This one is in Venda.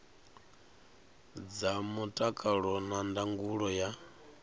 dza mutakalo na ndangulo ya